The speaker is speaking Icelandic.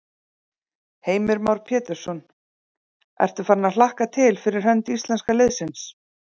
Heimir Már Pétursson: Ertu farin að hlakka til fyrir hönd íslenska liðsins?